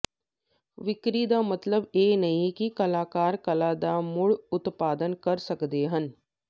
ਵਿਕਰੀ ਦਾ ਮਤਲਬ ਇਹ ਨਹੀਂ ਹੈ ਕਿ ਕਲਾਕਾਰ ਕਲਾ ਦਾ ਮੁੜ ਉਤਪਾਦਨ ਕਰ ਸਕਦੇ ਹਨ